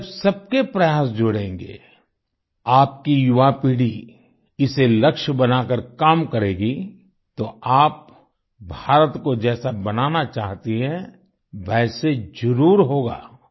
जब सबके प्रयास जुड़ेंगे आपकी युवापीढ़ी इसे लक्ष्य बनाकर काम करेगी तो आप भारत को जैसा बनाना चाहती है वैसे जरुर होगा